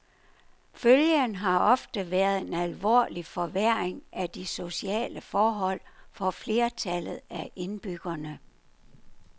Følgen har oftest været en alvorlig forværring af de sociale forhold for flertallet af indbyggerne.